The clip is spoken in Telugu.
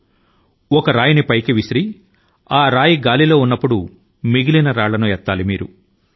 ఒక రాయి ని గాలి లోకి విసరి ఆ రాయి గాలి లో ఉన్నప్పుడే నేల మీదున్న మిగిలిన రాళ్ల ను మీరు పట్టుకోవాలి